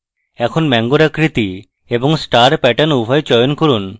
এখন mango আকৃতি এবং star প্যাটার্ন উভয় চয়ন করুন